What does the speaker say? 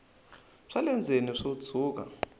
swa le ndzeni swo tshuka